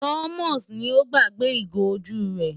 Thomas ni ó gbàgbé ìgò ojú rẹ̀.